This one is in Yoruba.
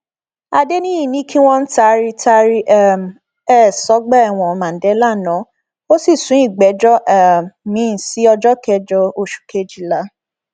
adẹniyí ní kí wọn taari taari um ẹ sọgbà ẹwọn mandela ná ó sì sún ìgbẹjọ um miín sí ọjọ kẹjọ oṣù kejìlá